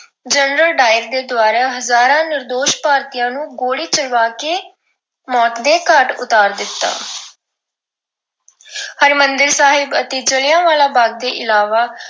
General O Dwyer ਦੇ ਦੁਆਰਾ ਹਜ਼ਾਰਾਂ ਭਾਰਤੀਆਂ ਨੂੰ ਗੋਲੀ ਚਲਵਾ ਕੇ ਮੌਤ ਦੇ ਘਾਟ ਉਤਾਰ ਦਿੱਤਾ ਹਰਿਮੰਦਰ ਸਾਹਿਬ ਅਤੇ ਜਲਿਆਂਵਾਲਾ ਬਾਗ ਦੇ ਇਲਾਵਾ